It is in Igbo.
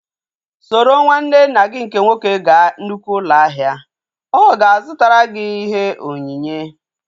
Soro nwanne nna gị nke nwoke gaa nnukwu ụlọ ahịa! Ọ ga-azụtara gị ihe onyinye